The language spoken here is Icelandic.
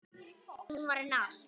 Hún var henni allt.